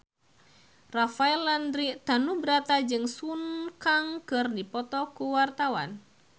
Rafael Landry Tanubrata jeung Sun Kang keur dipoto ku wartawan